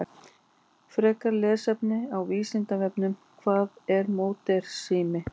Frekara lesefni á Vísindavefnum: Hvað er módernismi?